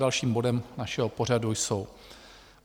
Dalším bodem našeho pořadu jsou